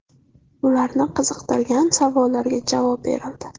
Ularni qiziqtirgan savollarga javob berildi.